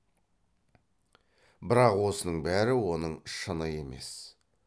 бірақ осының бәрі оның шыны емес